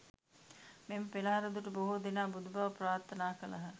මෙම පෙළහර දුටු බොහෝ දෙනා බුදුබව ප්‍රාර්ථනා කළහ.